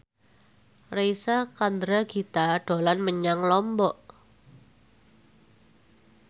Reysa Chandragitta dolan menyang Lombok